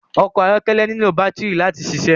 Ọkọ ayọkẹlẹ nilo batiri láti ṣiṣẹ